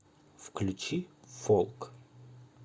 включи фолк